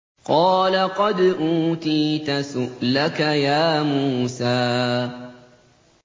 قَالَ قَدْ أُوتِيتَ سُؤْلَكَ يَا مُوسَىٰ